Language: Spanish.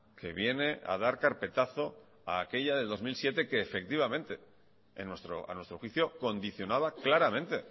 que viene a dar carpetazo a aquella del dos mil siete que efectivamente a nuestro juicio condicionaba claramente